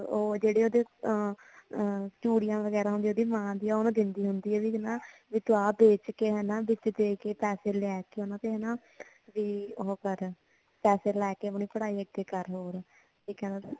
ਉਹ ਜਿਹੜੇ ਅ ਅ ਚੂੜੀਆ ਵਗੈਰਾ ਹੁੰਦੀਆਂ ਉਹਦੀ ਮਾਂ ਦੀਆਂ ਉਹ ਉਹਨੂੰ ਦਿੰਦੀ ਹੁੰਦੀ ਆ ਵੀ ਤੂੰ ਆ ਵੇਚ ਕੇ ਹਨਾਂ ਕਿਤੇ ਪੈਸੇ ਲੈ ਕੇ ਉਹਨਾਂ ਦੇ ਵੀ ਉਹੋ ਕਰ ਪੈਸੈ ਲੈ ਕੇ ਆਪਣੀ ਪੜ੍ਹਾਈ ਅੱਗੇ ਕਰ ਹੋਰ ਠੀਕ ਆ ਨਾ